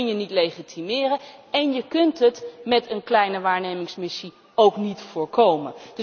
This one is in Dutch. Dat kun je niet legitimeren en je kunt het met een kleine waarnemingsmissie ook niet voorkomen.